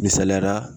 Misaliyala